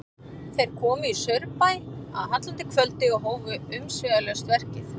Þeir komu í Saurbæ að hallandi kvöldi og hófu umsvifalaust verkið.